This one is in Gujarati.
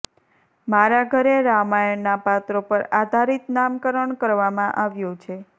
મારા ઘરે રામાયણના પાત્રો પર આધારિત નામકરણ કરવામાં આવ્યું છે